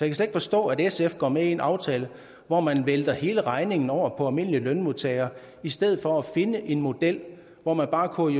ikke forstå at sf går med i en aftale hvor man vælter hele regningen over på almindelige lønmodtagere i stedet for at finde en model hvor man bare kunne